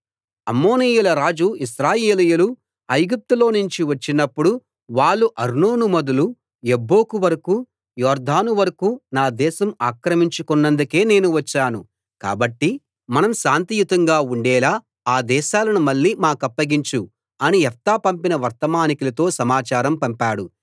అమ్మోనీయుల రాజు ఇశ్రాయేలీయులు ఐగుప్తులోనుంచి వచ్చినప్పుడు వాళ్ళు అర్నోను మొదలు యబ్బోకు వరకూ యొర్దాను వరకూ నా దేశం ఆక్రమించుకొన్నందుకే నేను వచ్చాను కాబట్టి మనం శాంతియుతంగా ఉండేలా ఆ దేశాలను మళ్ళీ మాకప్పగించు అని యెఫ్తా పంపిన వర్తమానికులతో సమాచారం పంపాడు